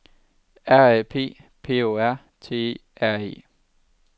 R A P P O R T E R E